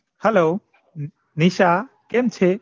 Hello Nisha કેમ છે